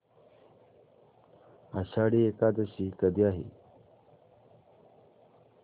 आषाढी एकादशी कधी आहे